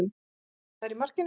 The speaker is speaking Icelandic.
Fastamaður í markinu.